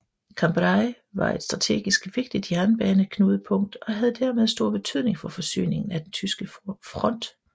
Cambrai var et strategisk vigtigt jernbaneknudepunkt og havde dermed stor betydning for forsyningen af den tyske front